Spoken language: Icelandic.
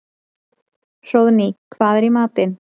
Hróðný, hvað er í matinn?